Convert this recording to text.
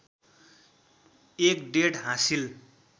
एक डेट हासिल